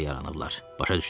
Başa düşdün?